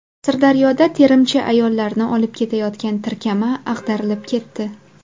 Sirdaryoda terimchi ayollarni olib ketayotgan tirkama ag‘darilib ketdi.